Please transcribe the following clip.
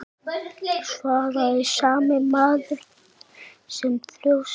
svaraði sami maður með þjósti.